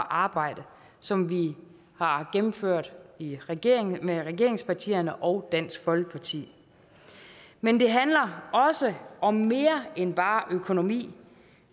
arbejde som vi har gennemført i regeringen med regeringspartierne og dansk folkeparti men det handler også om mere end bare økonomi